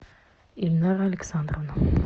ильнара александровна